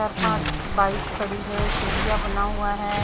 चार पांच बाइक खड़ी है सीढ़ियां बना हुआ है।